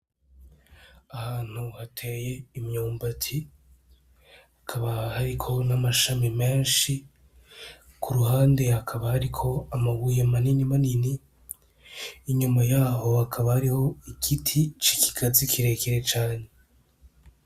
Ahantu hateye imyumbati, hakaba hariko n'amashami menshi. Ku ruhande hakaba hariko amabuye manini manini. Inyuma yaho, hakaba hariho igiti c'ikigazi kirekire cane.